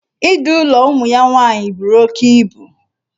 Idu ụlọ ụmụ ya nwaanyị buru oke ibu.